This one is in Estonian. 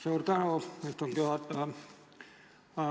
Suur tänu, istungi juhataja!